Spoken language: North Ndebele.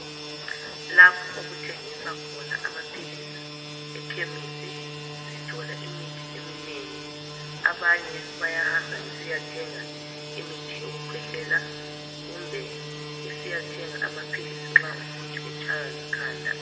Lapho okuthengiswa khona amapilisi ekhemesi, sithola imithi eminengi. Abanye bayahamba besiyathenga imithi yokukwehlela kumbe besithenga amapilisi nxa umuntu etshayiwa likhanda.